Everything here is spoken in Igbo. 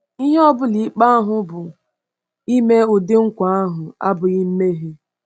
Ihe ọ bụla ikpe ahụ bụ, ime ụdị nkwa ahụ abụghị mmehie.